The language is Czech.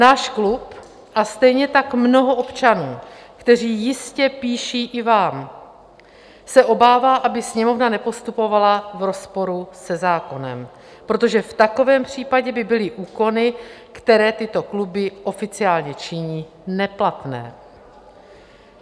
Náš klub a stejně tak mnoho občanů, kteří jistě píší i vám, se obává, aby Sněmovna nepostupovala v rozporu se zákonem, protože v takovém případě by byly úklony, které tyto kluby oficiálně činí, neplatné.